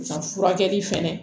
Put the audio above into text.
Nka furakɛli fɛnɛ